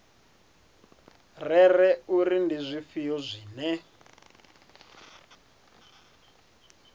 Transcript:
rere uri ndi zwifhio zwine